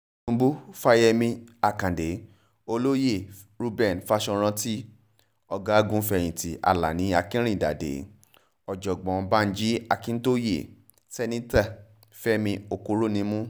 ubu fáyemí àkàdé olóyè reuben fásiròrántì ọ̀gágun-fẹ̀yìntì alani akinrinádádé ọ̀jọ̀gbọ́n banji akíntóye sẹ̀nitọ́ fẹ̀mí òkúrònímù